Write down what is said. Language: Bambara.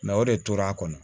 o de tora a kɔnɔ